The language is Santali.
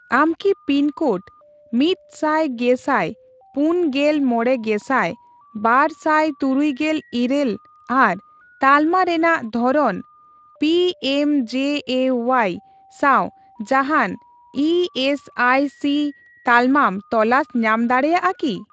ᱟᱢ ᱠᱤ ᱯᱤᱱ ᱠᱳᱰ ᱢᱤᱛ ᱥᱟᱭ ᱜᱮᱥᱟᱭ ᱯᱩᱱ ᱜᱮᱞ ᱢᱚᱲᱮ ᱜᱮᱥᱟᱭ ᱵᱟᱨ ᱥᱟᱭ ᱛᱩᱨᱩᱭ ᱜᱮᱞ ᱤᱨᱟᱹᱞ ᱟᱨ ᱛᱟᱞᱢᱟ ᱨᱮᱱᱟᱜ ᱫᱷᱚᱨᱚᱱ ᱯᱤᱮᱢᱡᱮᱮᱣᱟᱭ ᱥᱟᱣ ᱡᱟᱦᱟᱱ ᱤ ᱥᱤ ᱟᱭ ᱪᱤ ᱛᱟᱞᱢᱟᱢ ᱛᱚᱞᱟᱥ ᱧᱟᱢ ᱫᱟᱲᱮᱭᱟᱜᱼᱟ ᱠᱤ ?